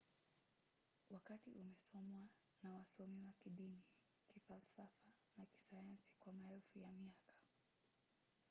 wakati umesomwa na wasomi wa kidini kifalsafa na kisayansi kwa maelfu ya miaka